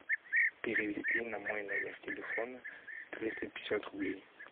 перевести на мой номер телефона триста пятьдесят рублей